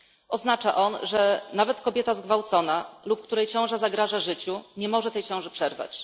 Oznacza on, że nawet kobieta zgwałcona lub której ciąża zagraża życiu, nie może tej ciąży przerwać.